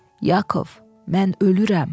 “Yakov, mən ölürəm.”